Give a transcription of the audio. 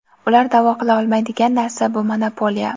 Ular da’vo qila olmaydigan narsa — bu monopoliya.